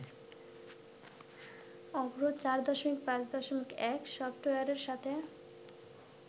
অভ্র ৪.৫.১ সফটওয়্যারের সাথে